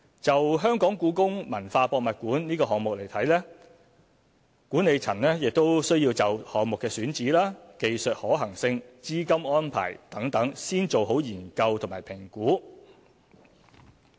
就故宮館項目而言，管理層亦需要就項目的選址、技術可行性、資金安排等先做好研究和評估。